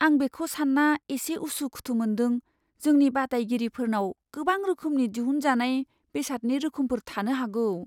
आं बेखौ सानना एसे उसु खुथु मोनदों जोंनि बादायगिरिफोरनाव गोबां रोखोमनि दिहुनजानाय बेसादनि रोखोमफोर थानो हागौ।